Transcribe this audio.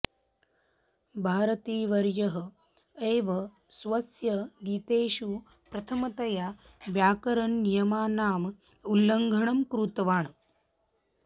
भारतीवर्यः एव स्वस्य गीतेषु प्रथमतया व्याकरणनियमानाम् उल्लङ्घनं कृतवान्